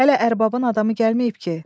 Hələ ərbabın adamı gəlməyib ki?